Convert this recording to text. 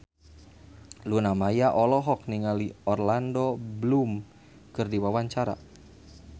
Luna Maya olohok ningali Orlando Bloom keur diwawancara